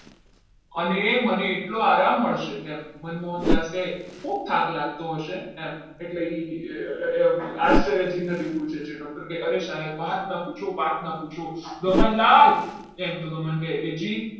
અને મને એટલો આરામ મળશે ખૂબ થાક લાગતો હશે એમ એટલે આચાર્યથી પૂછે છે. doctor કે અરે સાહેબ વાત ના પૂછો વાત ના પૂછો ગમનલાલ એમ કે તો ગમન કહે જી